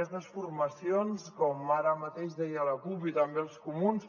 aquestes formacions com ara mateix deia la cup i també els comuns